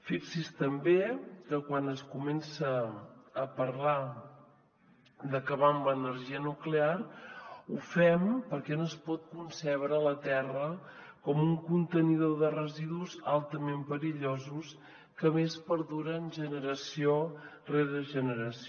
fixi’s també que quan es comença a parlar d’acabar amb l’energia nuclear ho fem perquè no es pot concebre la terra com un contenidor de residus altament perillosos que a més perduren generació rere generació